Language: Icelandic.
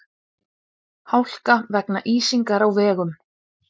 Hálka vegna ísingar á vegum